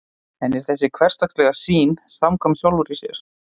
en er þessi hversdagslega sýn samkvæm sjálfri sér